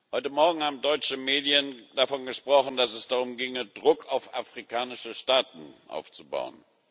Heute Morgen haben deutsche Medien davon gesprochen, dass es darum ginge, Druck auf afrikanische Staaten aufzubauen.